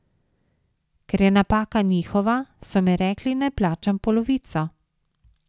Ker je napaka njihova, so mi rekli, naj plačam polovico.